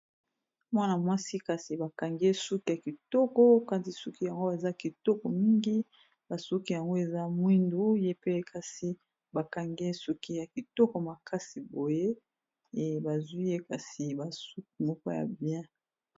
mwana mwasi kasi bakangiye suki ya kitoko kasi suki yango baza kitoko mingi basuki yango eza mwindu ye pe kasi bakangie suki ya kitoko makasi boye e bazwi ye kasi basuki moko ya bien